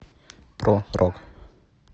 про рок